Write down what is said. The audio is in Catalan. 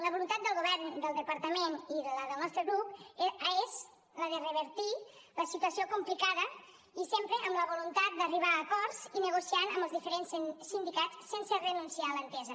la voluntat del govern del departament i la del nostre grup és la de revertir la situació complicada i sempre amb la voluntat d’arribar a acords i negociant amb els diferents sindicats sense renunciar a l’entesa